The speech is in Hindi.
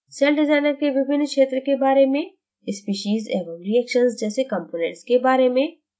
सेलडिज़ाइनर के विभिन्न क्षेत्र के बारे में स्पीशीज़ एवं reactions जैसे components के बारे में